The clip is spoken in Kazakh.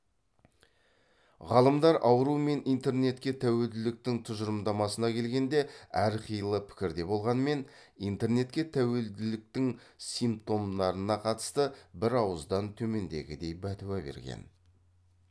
ғалымдар ауру мен интернетке тәуелділіктің тұжырымдамасына келгенде әрқилы пікірде болғанмен интернетке тәуелділіктің симптомдарына қатысты бір ауыздан төмендегідей бәтуа берген